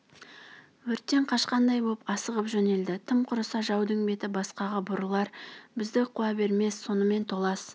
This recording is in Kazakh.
өрттен қашқандай боп асығып жөнелді тым құрыса жаудың беті басқаға бұрылар бізді қуа бермес сонымен толас